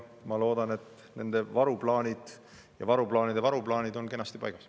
Ma loodan, et nende varuplaanid ja varuplaanide varuplaanid on kenasti paigas.